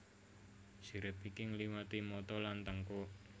Sirip iki ngliwati mata lan tengkuk